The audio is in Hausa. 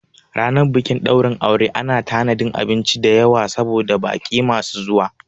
Ranar bikin ɗaurin aure ana tanadin abinci dayawa saboda baƙi masu zuwa